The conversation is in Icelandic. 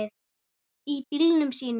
Í bílunum sínum.